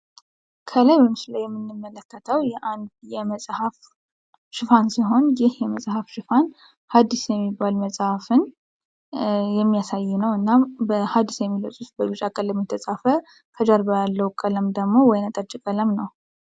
ከላይ በምስሉ ላይ የምንመለከተው የአንድ የመፅሐፍ ሽፋን ይህ የመፅሐፍ ሽፋን አዲስ የሚባል መፅሀፍን የሚሳይ እና አዲስ የሚለወ በቢጫ ቀለም የተፃፈ ከጀርባው ያለው ደግሞ ወይነጠጅ ቀለም ነው።